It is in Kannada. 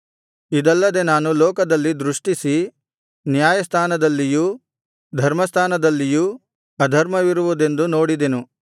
ಇದಲ್ಲದೆ ನಾನು ಲೋಕದಲ್ಲಿ ದೃಷ್ಟಿಸಿ ನ್ಯಾಯಸ್ಥಾನದಲ್ಲಿಯೂ ಧರ್ಮಸ್ಥಾನದಲ್ಲಿಯೂ ಅಧರ್ಮವಿರುವುದೆಂದು ನೋಡಿದೆನು